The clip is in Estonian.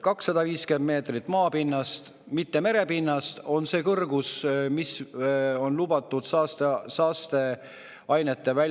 250 meetrit maapinnast, mitte merepinnast, on see kõrgus, mis on lubatud saasteainet väljutava ehitise puhul.